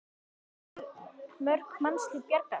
En hvað gætu mörg mannslíf bjargast?